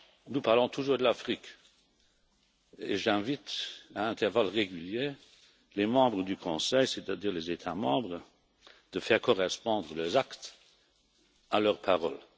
Nous parlons toujours de l'Afrique, et j'invite, à intervalles réguliers, les membres du Conseil, c'est à dire les États membres, à faire correspondre leurs actes à leurs paroles.